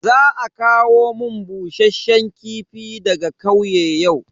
Za a kawo mun bushasshen kifi daga kauye yau.